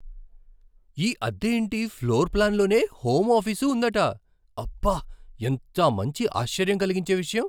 ఈ అద్దె ఇంటి ఫ్లోర్ ప్లాన్లోనే హోమ్ ఆఫీసు ఉందట. అబ్బా! ఎంత మంచి ఆశ్చర్యం కలిగించే విషయం.